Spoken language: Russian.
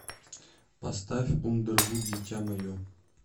поставь ундервуд дитя мое